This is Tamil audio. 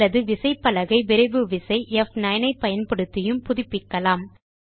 அல்லது விசைப்பலகை விரைவு விசை ப்9 ஐ பயன்படுத்தியும் புதுப்பிக்கலாம்